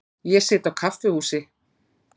Ég sit á kaffihúsi.